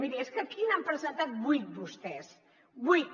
miri és que aquí n’han presentat vuit vostès vuit